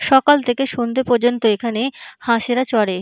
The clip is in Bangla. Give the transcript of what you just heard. সকাল থেকে সন্ধ্যে পর্যন্ত এখানে হাঁসেরা চরে।